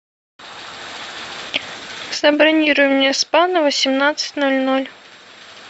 забронируй мне спа на восемнадцать ноль ноль